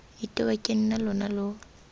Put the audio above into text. itewa ke nna lona lo